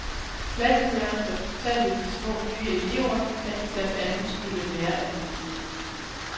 Klasselæreren fortalte de små nye elever, at de blandt andet skulle lære alfabetet.